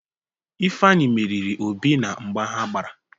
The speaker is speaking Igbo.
Ifeanyị meriri Obi na mgba ha gbara.